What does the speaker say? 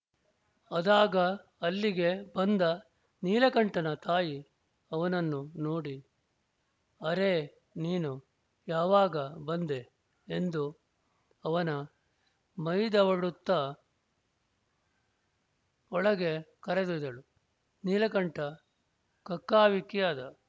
ಅದಾಗ ಅಲ್ಲಿಗೆ ಬಂದ ನೀಲಕಂಠನ ತಾಯಿ ಅವನನ್ನು ನೋಡಿ ಅರೇ ನೀನು ಯಾವಾಗ ಬಂದೆ ಎಂದು ಅವನ ಮೈದವಡುತ್ತ ಒಳಗೆ ಕರೆದೊಯ್ದಳು ನೀಲಕಂಠ ಕಕ್ಕಾವಿಕ್ಕಿಯಾದ